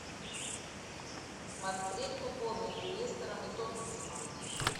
смотреть футбол между лестером и тоттенхэмом